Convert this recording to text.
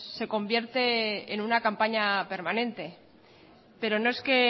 se convierte en una campaña permanente pero no es que